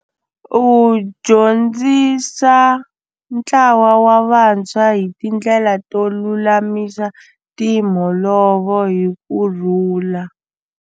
U dyondzisa ntlawa wa vantshwa hi tindlela to lulamisa timholovo hi ku rhula.